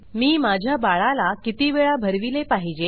मी माझ्या बाळाला किती वेळा भरविले पाहिजे